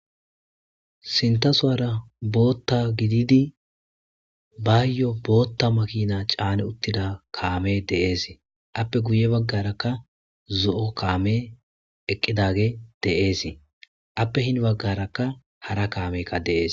Sintasuwara bota gididi bayo bota makina cani utida kame des appe ha bagara zoo' kameka dee's appe hininagara hara kameka dee's